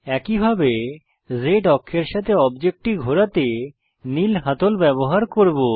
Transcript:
একইভাবে Z অক্ষের সাথে অবজেক্টটি ঘোরাতে নীল হাতল ব্যবহার করব